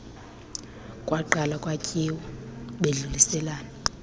kwaqalwa kwatyiwa bedluliselana